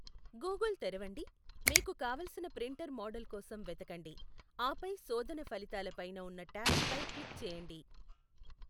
Google తెరవండి, మీకు కావలసిన ప్రింటర్ మోడల్ కోసం వెతకండి, ఆపై శోధన ఫలితాల పైన ఉన్న ట్యాబ్ పై క్లిక్ చేయండి.